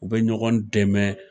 U bɛ ɲɔgɔn dɛmɛ.